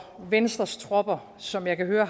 venstres tropper som jeg kan høre